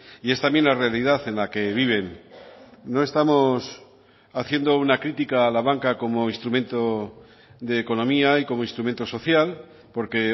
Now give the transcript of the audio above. y es también la realidad en la que viven no estamos haciendo una crítica a la banca como instrumento de economía y como instrumento social porque